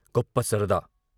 గొప్ప సరదా !